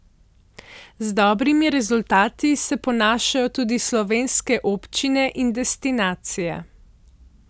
Z dobrimi rezultati se ponašajo tudi slovenske občine in destinacije.